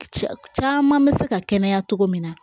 Cɛ caman bɛ se ka kɛnɛya cogo min na